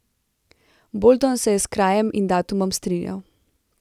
Bolton se je s krajem in datumom strinjal.